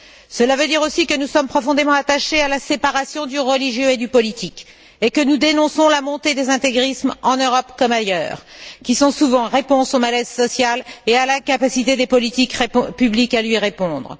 Cela veut dire aussi que nous sommes profondément attachés à la séparation du religieux et du politique et que nous dénonçons la montée des intégrismes en Europe comme ailleurs, qui sont souvent réponse au malaise social et à l'incapacité des politiques publiques à lui répondre.